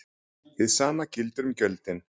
Hið sama gildir um gjöldin.